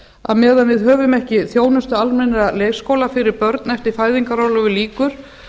að meðan við höfum ekki þjónustu almennra leikskóla fyrir börn eftir að fæðingarorlofi lýkur